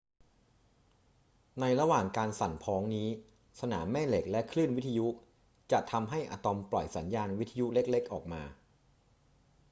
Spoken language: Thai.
ในระหว่างการสั่นพ้องนี้ สนามแม่เหล็กและคลื่นวิทยุจะทำให้อะตอมปล่อยสัญญาณวิทยุเล็ก ๆ ออกมา